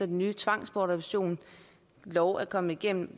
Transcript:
nye tvangsbortadoptionslov er kommet igennem